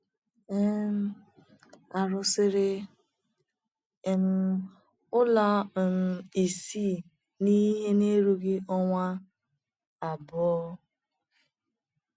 um A rụsịrị um ụlọ um isii n’ihe na - erughị ọnwa abụọ.